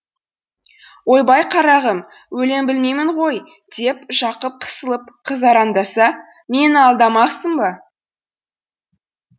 ойбай қарағым өлең білмеймін ғой деп жақып қысылып қызараңдаса мені алдамақсың ба